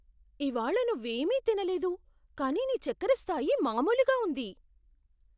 ఇవాళ నువ్వేమీ తినలేదు, కానీ నీ చెక్కర స్థాయి మామూలుగా ఉంది.